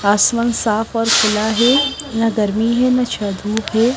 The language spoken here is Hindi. आसमान साफ और खुला है ना गर्मी है ना धूप है।